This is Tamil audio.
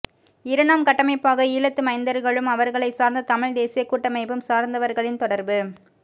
இரண்டாம் கட்டமைப்பாக ஈழத்து மைந்தர்களும் அவர்களை சார்ந்த தமிழ் தேசிய கூட்டமைப்பும் சார்ந்தவர்களின் தொடர்பு